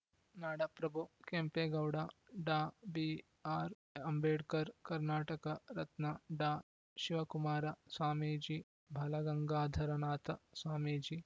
ನಾಡಪ್ರಭು ಕೆಂಪೇಗೌಡ ಡಾ ಬಿಆರ್‌ಅಂಬೇಡ್ಕರ್‌ ಕರ್ನಾಟಕ ರತ್ನ ಡಾಶಿವಕುಮಾರ ಸ್ವಾಮೀಜಿ ಬಾಲಗಂಗಾಧರನಾಥ ಸ್ವಾಮೀಜಿ